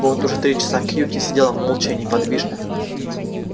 вот уже три часа кьюти сидел молча и неподвижно